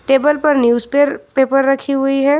Table पर news पर paper रखी हुई है।